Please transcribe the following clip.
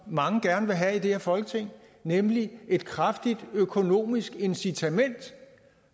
mange gerne vil have i det her folketing nemlig et kraftigt økonomisk incitament